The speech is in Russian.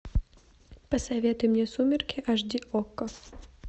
посоветуй мне сумерки аш ди окко